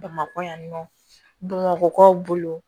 Bamakɔ yan nɔ bamakɔkaw bolo